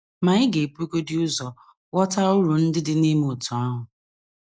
Ma, ị ga - ebugodị ụzọ ghọta uru ndị dị n’ime otú ahụ.